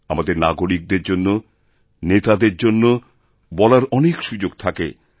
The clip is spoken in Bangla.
আমাদের নাগরিকদের জন্য নেতাদের জন্য বলার অনেক সুযোগ থাকে